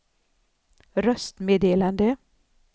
röstmeddelande